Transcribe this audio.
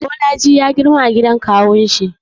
Bolaji ya girma a gidan kawunshi.